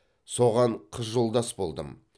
соған қыз жолдас болдым